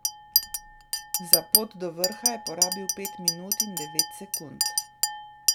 Za pot do vrha je porabil pet minut in devet sekund.